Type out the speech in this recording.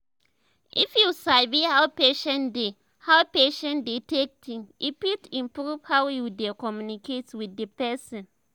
if you sabi how patient dey how patient dey take think e fit improve how you dey communicate with the person